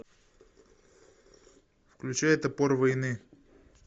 включай топор войны